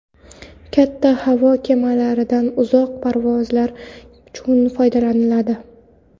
Katta havo kemalaridan uzoq parvozlar uchun foydalaniladi.